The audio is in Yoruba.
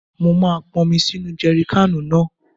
Mo máa ponmi sínu jèrikáànù náà.